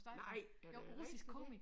Nej er det rigtig det?